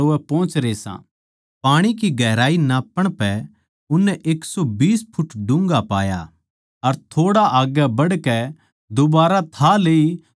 पाणी की गहराई नाप्पण पै उननै एक सौ बीस फुट डून्घा पाया अर थोड़ा आग्गै बढ़कै दुबारा थाह लेई तो नब्बै फुट पाया